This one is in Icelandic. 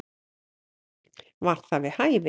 Var það við hæfi?